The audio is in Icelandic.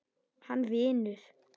Hann vinur.